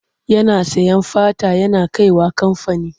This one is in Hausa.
Yana sayen fata yana kai wa kamfani.